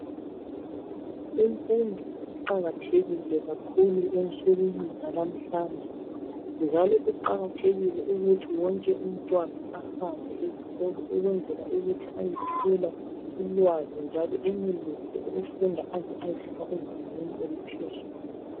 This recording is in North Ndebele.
Imfundo iqakathekile kakhulu ensukwini zalamhlanje njalo kuqakathekile ukuthi wonke umntwana ahambe esikolo ukwenzela ukuthi ayethola ulwazi njalo enelise ukufunda aze ayefika ezingeni eliphezulu.